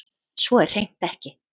Svo er hreint ekki